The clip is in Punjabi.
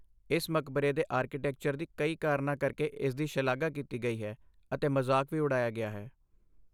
ਇਸ ਮਕਬਰੇ ਦੇ ਆਰਕੀਟੈਕਚਰ ਦੀ ਕਈ ਕਾਰਨਾਂ ਕਰਕੇ ਇਸਦੀ ਸ਼ਲਾਘਾ ਕੀਤੀ ਗਈ ਹੈ ਅਤੇ ਮਜ਼ਾਕ ਵੀ ਉਡਾਇਆ ਗਿਆ ਹੈ।